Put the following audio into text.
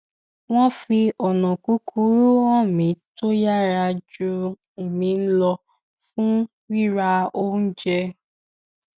wọn fi ònà kúkúrú hàn mi tó yára ju èmi lọ fún rira oúnjẹ